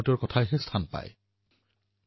ভাৰতৰ মূলপ্ৰাণ হল সমাজনীতি আৰু সমাজশক্তি